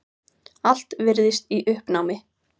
Allt virðist í uppnámi.